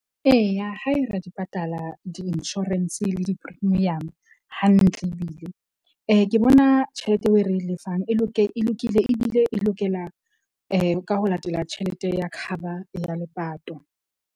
Eya, hae ra di patala di-insurance le di-premium hantle, ebile ke bona tjhelete eo e re e lefang e , e lokile ebile e lokela ka ho latela tjhelete ya cover ya lepato.